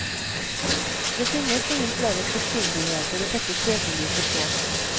Det finnes ingen flere spissfindigheter å sette søkelyset på.